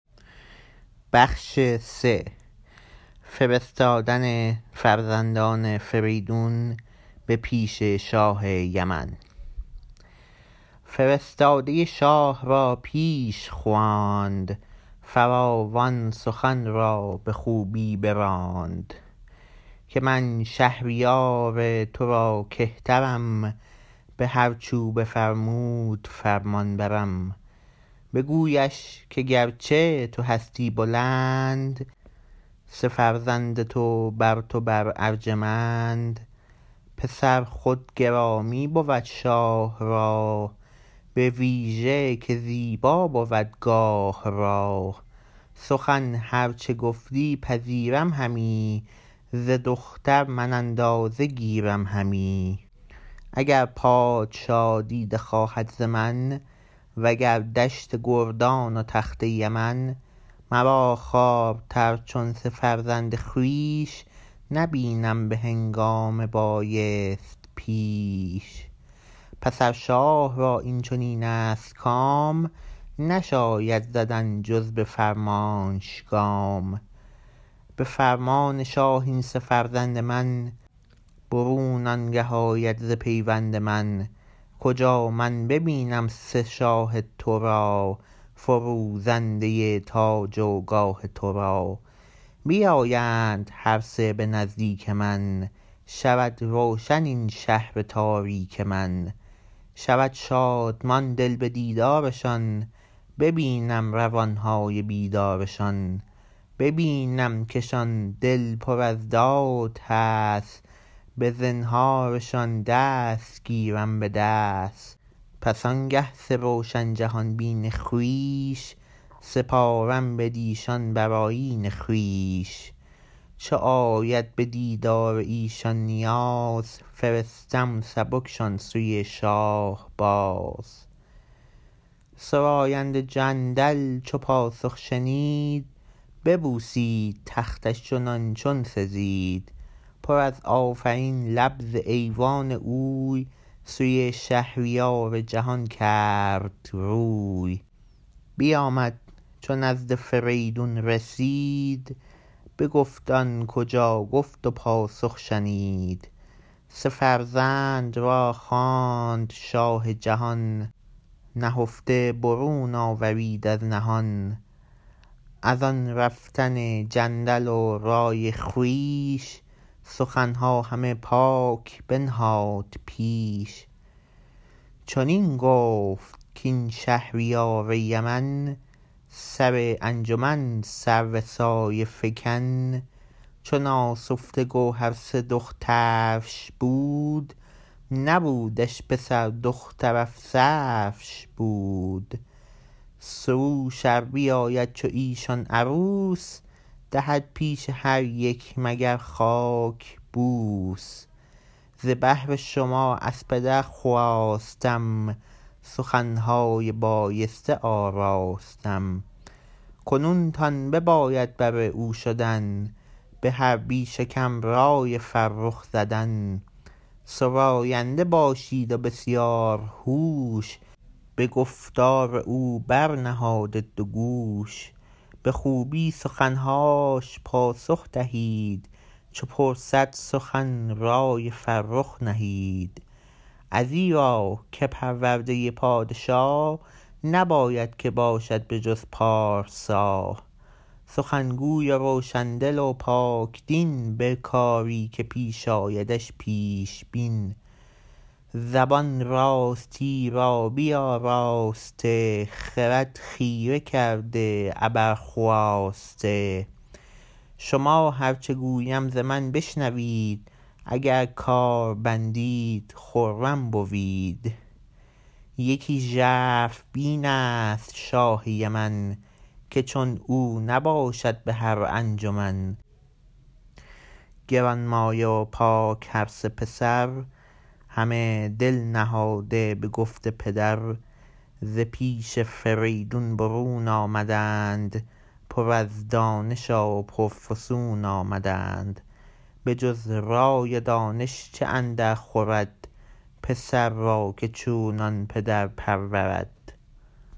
فرستاده شاه را پیش خواند فراوان سخن را به خوبی براند که من شهریار ترا کهترم به هرچ او بفرمود فرمانبرم بگویش که گرچه تو هستی بلند سه فرزند تو برتو بر ارجمند پسر خود گرامی بود شاه را بویژه که زیبا بود گاه را سخن هر چه گفتی پذیرم همی ز دختر من اندازه گیرم همی اگر پادشا دیده خواهد ز من و گر دشت گردان و تخت یمن مرا خوارتر چون سه فرزند خویش نبینم به هنگام بایست پیش پس ار شاه را این چنین است کام نشاید زدن جز به فرمانش گام به فرمان شاه این سه فرزند من برون آنگه آید ز پیوند من کجا من ببینم سه شاه ترا فروزنده تاج و گاه ترا بیایند هر سه به نزدیک من شود روشن این شهر تاریک من شود شادمان دل به دیدارشان ببینم روانهای بیدارشان ببینم کشان دل پر از داد هست به زنهارشان دست گیرم به دست پس آنگه سه روشن جهان بین خویش سپارم بدیشان بر آیین خویش چو آید بدیدار ایشان نیاز فرستم سبکشان سوی شاه باز سراینده جندل چو پاسخ شنید ببوسید تختش چنان چون سزید پر از آفرین لب ز ایوان اوی سوی شهریار جهان کرد روی بیامد چو نزد فریدون رسید بگفت آن کجا گفت و پاسخ شنید سه فرزند را خواند شاه جهان نهفته برون آورید از نهان از آن رفتن جندل و رای خویش سخنها همه پاک بنهاد پیش چنین گفت کاین شهریار یمن سر انجمن سرو سایه فکن چو ناسفته گوهر سه دخترش بود نبودش پسر دختر افسرش بود سروش ار بیابد چو ایشان عروس دهد پیش هر یک مگر خاک بوس ز بهر شما از پدر خواستم سخنهای بایسته آراستم کنون تان بباید بر او شدن به هر بیش و کم رای فرخ زدن سراینده باشید و بسیارهوش به گفتار او برنهاده دوگوش به خوبی سخنهاش پاسخ دهید چو پرسد سخن رای فرخ نهید ازیرا که پرورده پادشا نباید که باشد به جز پارسا سخن گوی و روشن دل و پاک دین به کاری که پیش آیدش پیش بین زبان راستی را بیاراسته خرد خیره کرده ابر خواسته شما هر چه گویم ز من بشنوید اگر کار بندید خرم بوید یکی ژرف بین است شاه یمن که چون او نباشد به هرانجمن گرانمایه و پاک هرسه پسر همه دل نهاده به گفت پدر ز پیش فریدون برون آمدند پر از دانش و پرفسون آمدند بجز رای و دانش چه اندرخورد پسر را که چونان پدر پرورد